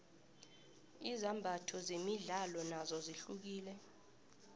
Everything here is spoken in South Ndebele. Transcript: izimbatho zemidlalo nozo zihlukile